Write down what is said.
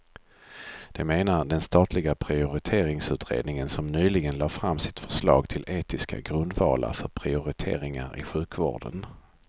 Det menar den statliga prioriteringsutredningen som nyligen lade fram sitt förslag till etiska grundvalar för prioriteringar i sjukvården.